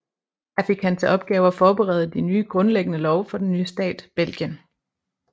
Her fik han til opgave at forberede de grundlæggende love for den nye stat Belgien